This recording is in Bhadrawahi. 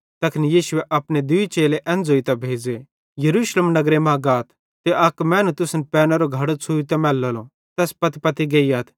तैखन यीशुए अपने दूई चेले एन ज़ोइतां भेज़े यरूशलेम नगरे मां गाथ ते अक मैनू तुसन पैनेरो घड़ो छ़ुवोरो मैलेलो तैस पत्तीपत्ती गेइयथ